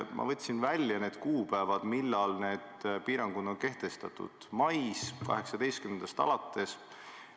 Ma võtsin välja kuupäeva, millal need piirangud kehtestati: 18. maist alates.